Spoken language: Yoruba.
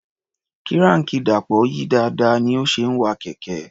Kíráànkì Dàpọ̀ yí dáadáa ní ó ṣe ń wa kẹ̀kẹ́.